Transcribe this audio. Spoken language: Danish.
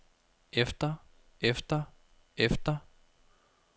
efter efter efter